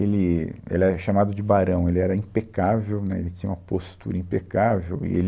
Ele, ele era chamado de barão, ele era impecável, né, ele tinha uma postura impecável e ele